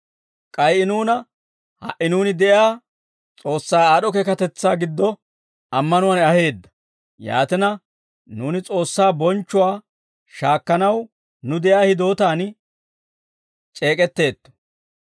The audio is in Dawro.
k'ay I nuuna ha"i nuuni de'iyaa S'oossaa aad'd'o keekatetsaa giddo ammanuwaan aheedda; yaatina, nuuni S'oossaa bonchchuwaa shaakkanaw nuw de'iyaa hidootaan c'eek'etteetto.